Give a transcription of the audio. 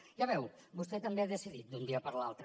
ja ho veu vostè també ha decidit d’un dia per l’altre